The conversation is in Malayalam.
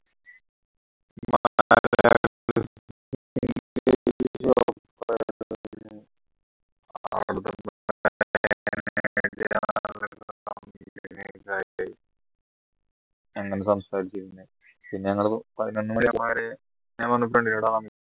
അങ്ങനെ സംസാരിച്ചു പിന്നെ ഞങ്ങൾ ഞാൻ പറഞ്ഞു friend നോട്